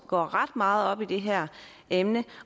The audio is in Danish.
går ret meget op i det her emne